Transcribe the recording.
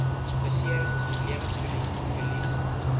beserings lewensverlies verlies